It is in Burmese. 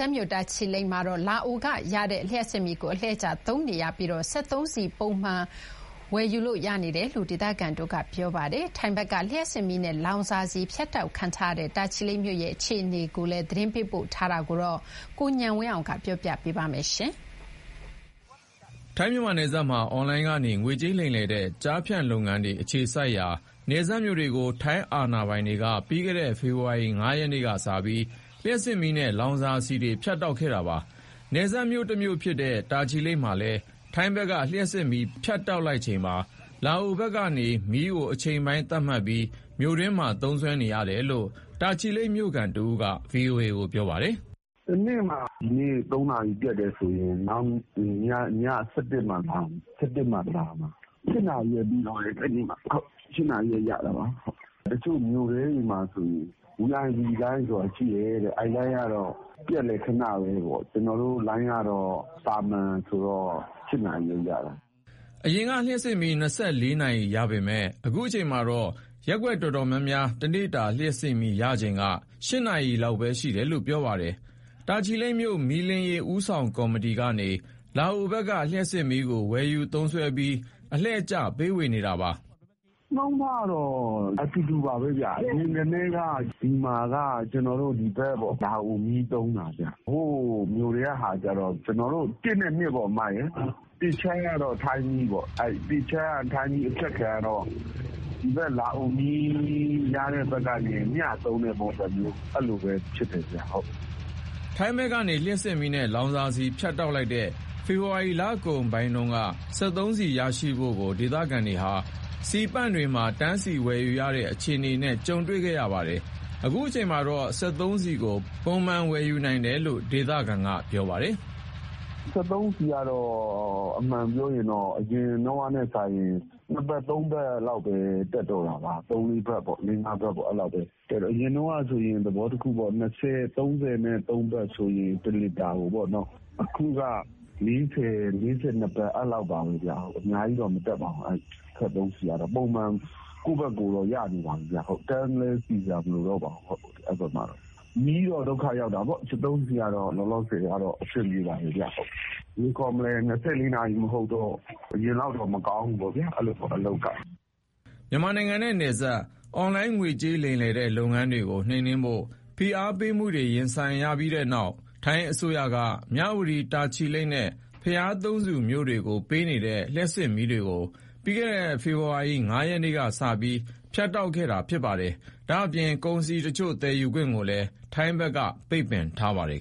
ပ်မြို့ တာချီလိတ်မှာတော့ လာအိုကနေရရှိတဲ့ လျှပ်စစ်မီးကို အလှည့်ကျသုံးစွဲနေပြီး စက်သုံးဆီ ပုံမှန် ဝယ်ယူလို့ရနေတယ်လို့ ဒေသခံတွေက ပြောပါတယ်။ ထိုင်းဘက်က လျှပ်စစ်မီးနဲ့ လောင်စာဆီ ဖြတ်တောက်ခံထားရတဲ့ တာချီလိတ်မြို့ အခြေအနေ သတင်းပေးပို့ထားပါတယ်။ ထိုင်း-မြန်မာနယ်စပ်မှာ အွန်လိုင်းကနေ ငွေကြေးလိမ်လည်တဲ့ ကျားဖြန့်လုပ်ငန်းတွေ အခြေစိုက်ရာ နယ်စပ်မြို့တွေကို ထိုင်းအာဏာပိုင်တွေက ပြီးခဲ့တဲ့ ဖေဖော်ဝါရီလ ၅ ရက်နေ့ကစပြီး လျှပ်စစ်မီးနဲ့ လောင်စာဆီ ဖြတ်တောက်ခဲ့တာပါ။ နယ်စပ်မြို့တွေထဲက တခုဖြစ်တဲ့ တာချီလိတ်မြို့မှာတော့ ထိုင်းဘက်က လျှပ်စစ်မီး ဖြတ်တောက်လိုက်ချိန်မှာ လာအိုဘက်ကမီးကို အချိန်ပိုင်းသတ်မှတ်ပြီး မြို့တွင်းမှာ သုံးစွဲနေတယ်လို့ တာချီလိတ်ဒေသခံတဦးက ပြောပါတယ်။ "တနေ့မှာ ဒီနေ့ ၃ နာရီ ပျက်တယ်ဆိုရင် ည ၁၁ မှလာတယ်။ တနေ့ကို ၈ နာရီပဲ ပေးတော့တယ်။ တချို့မြို့ထဲမှာဆိုရင် VIP လိုင်းဆိုတာ ရှိတယ်တဲ့။ အဲဒီလိုင်းကတော့ ပျက်လည်း ခဏပဲပေါ့။ ကျနော်တို့လိုင်းကတော့ သာမန်ဆိုတော့ ၈ နာရီပဲရတယ်။" အရင်က လျှပ်စစ်မီး ၂၄ နာရီရပေမယ့် အခုချိန်မှာတော့ ရပ်ကွက်တော်တော်များများ တနေ့တာလျှပ်စစ်မီးရချိန်က ၈ နာရီပဲရှိတယ်လို့ ပြောပါတယ်။ တာချီလိတ်မြို့ မီးလင်းရေး ဦးဆောင်ကော်မတီကနေ လာအိုဘက်က လျှပ်စစ်မီးကို ဝယ်ယူသုံးစွဲပြီး အလှည့်ကျပေးဝေနေတာပါ။ "နှုန်းထားကတော့ အတူတူပါပဲဗျ။ အရင်ကတည်းက ဒီမှာက လာအိုမီး သုံးတာရှိတယ်။ အပိုင်း ၁ နဲ့ ၂ ပေါ့ဗျာ။ ၁ အခြမ်းက ထိုင်းမီးသုံးတာပေါ့။ အဲဒီ ၁ အခြမ်းက ထိုင်းမီးအဖြတ်ခံရတော့ လာအိုမီးရတဲ့ဘက်ကနေ မျှသုံးတဲ့ပုံစံမျိုး ဖြစ်နေတာဗျ။" ထိုင်းဘက်ကနေ လျှပ်စစ်မီးနဲ့ လောင်စာဆီ ဖြတ်တောက်လိုက်တဲ့ ဖေဖော်ဝါရီလတုန်းက စက်သုံးဆီရရှိဖို့ကို ဒေသခံတွေဟာ ဆီပန့်တွေမှာ တန်းစီဝယ်ယူရတဲ့ အခြေအနေကို ကြုံတွေ့ခဲ့ကြပါတယ်။ အခုချိန်မှာတော့ စက်သုံးဆီကို ပုံမှန်ဝယ်ယူနိုင်တယ်လို့ ပြောပါတယ်။ "စက်သုံးဆီကတော့ အရင်တုန်းကထက်စာရင် ၂ ဘတ်၊ ၃ ဘတ်လောက်ပဲ တက်တော့တာပါ။ သဘောတခုပေါ့။ အရင်တုန်းကဆိုရင် ၂၀ ကနေ ၃၃ ဘတ်ဆိုရင် တလီတာစျေးပေါ့။ အခုက တလီတာကို ၄၀၊ ၄၂ ဘတ်၊ အဲဒီလောက်ပါပဲ။ အများကြီးတော့ မတက်ဘူး။ ပုံမှန်တော့ ရနေတယ်။ တန်းစီစရာလည်း မလိုတော့ပါဘူး။ မီးကတော့ ဒုက္ခရောက်တာပေါ့။ စက်သုံးဆီကတော့ လောလောဆယ်က အဆင်ပြေပါတယ်။ မီးရတာက ၂၄ နာရီမဟုတ်တော့ အလုပ်အကိုင်တွေက အရင်ကလောက်တော့ မကောင်းဘူးပေါ့။" မြန်မာနိုင်ငံနဲ့ နယ်စပ် အွန်လိုင်းငွေကြေးလိမ်လည်တဲ့ လုပ်ငန်းတွေကို နှိမ်နှင်းဖို့ ဖိအားပေးမှုတွေ ရင်ဆိုင်ရပြီးတဲ့နောက် ထိုင်းအစိုးရက မြဝတီ၊ တာချီလိတ်နဲ့ ဘုရားသုံးဆူကို ပေးထားတဲ့ လျှပ်စစ်မီးတွေကို ပြီးခဲ့တဲ့ ဖေဖော်ဝါရီလ ၅ ရက်နေ့ကစပြီး ဖြတ်တောက်လိုက်တာပါ။ ဒါ့အပြင် ကုန်စည်တချို့ သယ်ယူခွင့်ကိုလည်း ထိုင်းဘက်က ပိတ်ပင်ထားပါတယ်